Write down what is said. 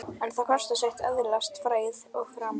En það kostar sitt að öðlast frægð og frama.